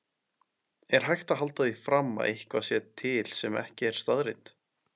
Er hægt að halda því fram að eitthvað sé til sem ekki er staðreynd?